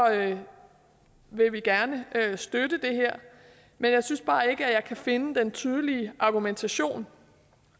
vil vi gerne støtte det her men jeg synes bare ikke jeg kan finde den tydelige argumentation